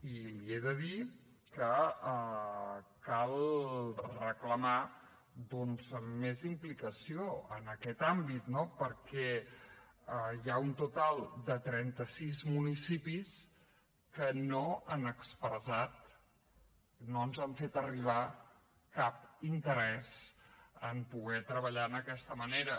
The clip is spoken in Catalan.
i li he de dir que cal reclamar més implicació en aquest àmbit perquè hi ha un total de trenta sis municipis que no han expressat no ens han fet arribar cap interès en poder treballar en aquesta manera